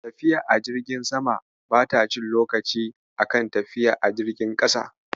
Tafiya a jirgin sama bata cin lokaci a kan tafiya a jirgin ƙasa.